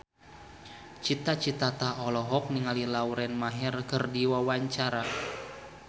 Cita Citata olohok ningali Lauren Maher keur diwawancara